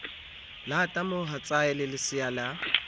lata mohatsae le lesea la